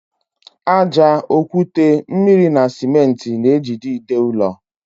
Ájá, okwute, mmiri na simenti na ejide ide ụlọ.